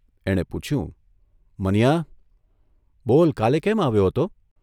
એણે પૂછ્યુઃ મનીયા, બોલ કાલે કેમ આવ્યો હતો?"